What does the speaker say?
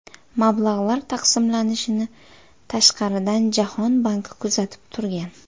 Mablag‘lar taqsimlanishini tashqaridan Jahon banki kuzatib turgan.